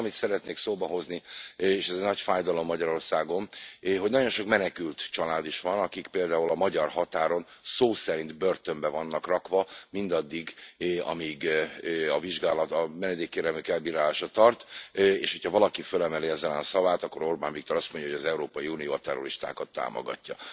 A másik, amit szeretnék szóba hozni, és ez egy nagy fájdalom Magyarországon, hogy nagyon sok menekült család is van, akik például a magyar határon szó szerint börtönbe vannak rakva, mindaddig, amíg a vizsgálat, a menedékkérelmük elbírálása tart, és hogyha valaki fölemeli ez ellen a szavát, akkor Orbán Viktor azt mondja, hogy az Európai Unió a terroristákat támogatja.